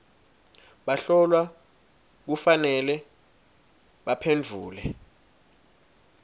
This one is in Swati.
bahlolwa kufanele baphendvule